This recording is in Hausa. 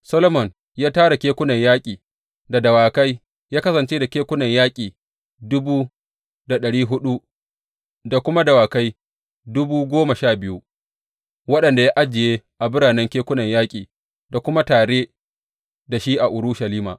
Solomon ya tara kekunan yaƙi da dawakai, ya kasance da kekunan yaƙi dubu da ɗari huɗu da kuma dawakai dubu goma sha biyu, waɗanda ya ajiye a biranen kekunan yaƙi, da kuma tare da shi a Urushalima.